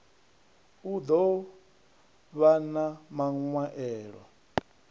u ḓo vhan a maṅwaelo